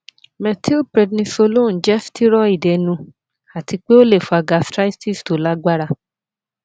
methylprednisolone jẹ steroid ẹnu ati pe o le fa gastritis to lagbara